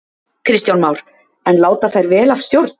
Kristján Már: En láta þær vel af stjórn?